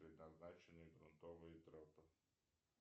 предназначены грунтовые тропы